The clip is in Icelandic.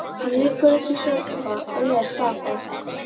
Hann liggur uppi í sófa og les dagblað.